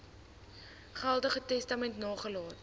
geldige testament nagelaat